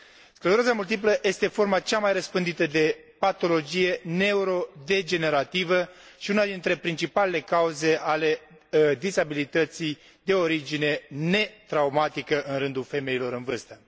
Scleroza multiplă este forma cea mai răspândită de patologie neurodegenerativă și una dintre principalele cauze ale dizabilității de origine netraumatică în rândul femeilor în vârstă.